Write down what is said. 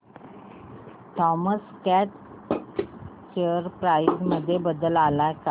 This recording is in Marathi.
थॉमस स्कॉट शेअर प्राइस मध्ये बदल आलाय का